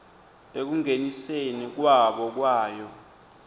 ekungeniseni kwabo kwayo